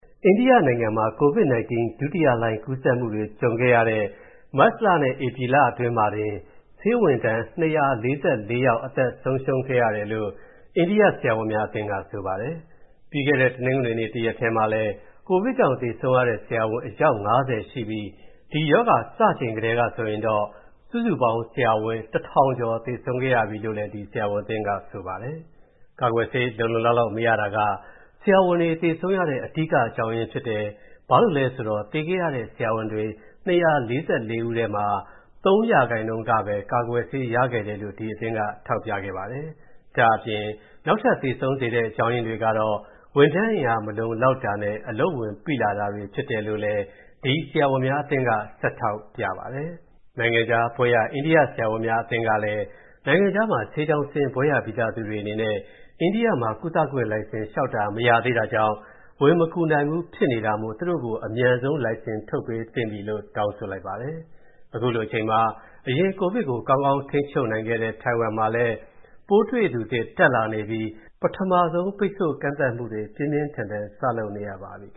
အိန္ဒိယနိုင်ငံမှာ COVID-19 ဒုတိယလှိုင်း ကူးစက်မှုတွေ ကြုံရတဲ့ မတ်လနဲ့ ဧပြီလအတွင်းမှာတင် ဆေးဝန်ထမ်း ၂၄၄ ယောက် အသက်ဆုံးရှုံးခဲ့ရတယ်လို့ အိန္ဒိယဆရာဝန်များအသင်းက ဆိုပါတယ်။ ပြီးခဲ့တဲ့ တနင်္ဂနွေနေ့ တစ်ရက်တည်းမှာလည်း ကိုဗစ်ကြောင့် သေဆုံးရတဲ့ ဆရာဝန် အယောက် ၅၀ ရှိပြီး ဒီရောဂါစချိန်ထဲကဆိုရင်တော့ စုစုပေါင်း ဆရာဝန် ၁,၀၀၀ ကျော် သေဆုံးခဲ့ရပြီလို့လည်း ဒီဆရာဝန်အသင်းက ဆိုပါတယ်။ ကာကွယ်ဆေး လုံလုံလောက်လောက် မရတာက ဆရာဝန်တွေ သေဆုံးရတဲ့ အဓိကအကြောင်းရင်းဖြစ်တယ်။ ဘာလို့လဲဆိုတော့ သေခဲ့ရတဲ့ ဆရာဝန် ၂၄၄ ဦးထဲမှာ ၃% ကပဲ ကာကွယ်ဆေးရခဲ့တယ်လို့ ဒီအသင်းက ထောက်ပြခဲ့ပါတယ်။ ဒါ့အပြင် နောက်ထပ် သေဆုံးစေတဲ့ အကြောင်းရင်းတွေကတော့ ဝန်ထမ်းအင်အားမလုံလောက်တာနဲ့ အလုပ်ဝန်ပိလာတာတွေဖြစ်တယ်လို့လည်း ဒီဆရာဝန်များအသင်းက ဆက်ထောက်ပြပါတယ်။ နိုင်ငံခြားဘွဲ့ရ အိန္ဒိယဆရာဝန်များအသင်းကလည်း နိုင်ငံခြားမှာ ဆေးကျောင်းဆင်း၊ ဘွဲ့ရပြီးသားသူတွေအနေနဲ့ အိန္ဒိယမှာ ကုသခွင့်လိုင်စင်လျှောက်တာ မရသေးတာကြောင့် ဝင်မကူနိုင်ဘူးဖြစ်နေတာမို့ သူတို့ကို အမြန်ဆုံးလိုင်စင်ထုတ်ပေးသင့်ပြီလို့ တောင်းဆိုလိုက်ပါတယ်။ အခုလိုအချိန်မှာ အရင်ကိုဗစ်ကို ကောင်းကောင်းထိန်းချုပ်နိုင်ခဲ့တဲ့ ထိုင်ဝမ်မှာ ပိုးတွေ့သူသစ် တက်လာနေပြီး ပထမဆုံး ပိတ်ဆို့ကန့်သတ်မှုတွေ ပြင်းပြင်းထန်ထန် စလုပ်နေရပါပြီ။